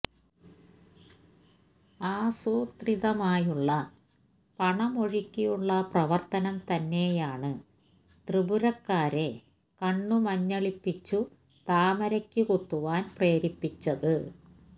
ആസൂത്രിതമായുള്ള പണമൊഴുക്കിയുള്ള പ്രവർത്തനം തന്നെയാണ് ത്രിപുരക്കാരെ കണ്ണ് മഞ്ഞളിപ്പിച്ചു താമരക്ക് കുത്തുവാൻ പ്രേരിപ്പിച്ചത്